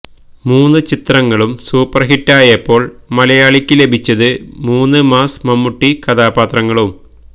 മൂന്ന് ചിത്രങ്ങളും സൂപ്പർഹിറ്റായപ്പോൾ മലയാളിക്ക് ലഭിച്ചത് മൂന്ന് മാസ് മമ്മൂട്ടി കഥാപാത്രങ്ങളും